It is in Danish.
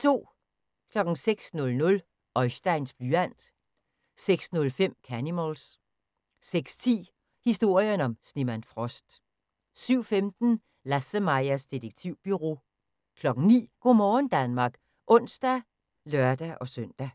06:00: Oisteins blyant 06:05: Canimals 06:10: Historien om snemand Frost 07:15: LasseMajas Detektivbureau 09:00: Go' morgen Danmark (ons og lør-søn) 12:00: